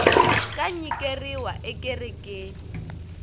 ka nyikeriwa ekerekeni